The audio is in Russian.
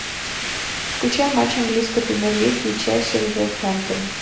включай матч английской премьер лиги челси вулверхэмптон